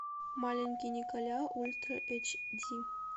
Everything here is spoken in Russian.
маленький николя ультра эйч ди